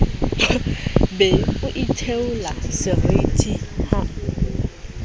be o itheola seriti ha